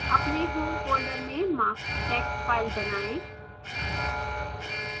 अपने home folder में marks text file बनाएँ